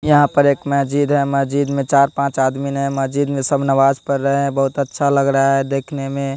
यहां पर एक महजिद है महजिद में चार पांच आदमीन हैं महजिद में सब नमाज पढ़ रहे हैं बहुत अच्छा लग रहा है देखने में।